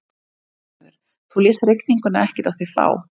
Lillý Valgerður: Þú lést rigninguna ekkert á þig fá?